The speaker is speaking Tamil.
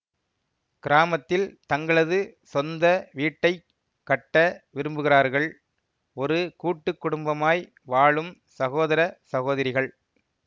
கிராமத்தில் தங்களது சொந்த வீட்டை கட்ட விரும்புகிறார்கள் ஒரு கூட்டு குடும்பமாய் வாழும் சகோதர சகோதரிகள்